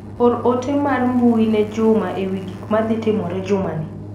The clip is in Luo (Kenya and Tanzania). Or ote mar mbui ne Juma ewi gik ma dhi timore juma ni.